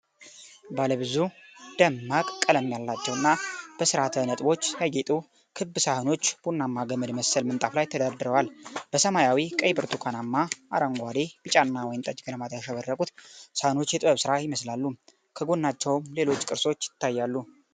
ባለ ብዙ ደማቅ ቀለም ያላቸው እና በሥርዓተ ነጥቦች ያጌጡ ክብ ሳህኖች ቡናማ ገመድ መሰል ምንጣፍ ላይ ተደርድረዋል። በሰማያዊ፣ ቀይ፣ ብርቱካናማ፣ አረንጓዴ፣ ቢጫና ወይንጠጅ ቀለማት ያሸበረቁት ሳህኖች የጥበብ ሥራ ይመስላሉ። ከጎናቸውም ሌሎች ቅርሶች ይታያሉ።